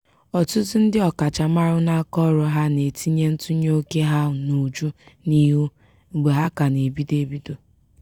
ọtụtụ ndị ọkachamara n'akaọrụ ha na-etinye ntụnye oke ha n'uju n'ihu mgbe ha ka na-ebido ebido.